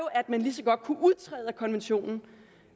at man lige så godt kunne udtræde af konventionen